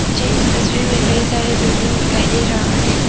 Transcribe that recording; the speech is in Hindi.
मुझे इस तस्वीर में कई सारे बिल्डिंग दिखाई दे रहा है।